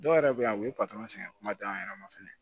Dɔw yɛrɛ bɛ yan u ye sɛgɛn kuma di an yɛrɛ ma fɛnɛ